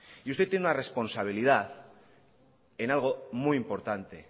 y usted tiene una responsabilidad en algo muy importante